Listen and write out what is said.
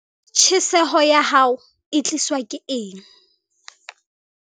Tjheseho ya hao e tliswa ke eng?